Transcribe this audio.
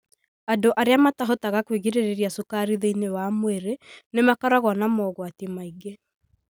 Andũ arĩa matahotaga kwĩgirĩrĩria cukari thĩinĩ wa mwĩrĩ nĩ makoragwo na mogwati maingĩ.